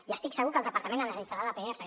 i estic segur que el departament analitzarà la pr